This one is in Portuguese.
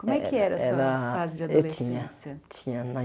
Como é que era era essa fase de adolescência? Eu tinha tinha na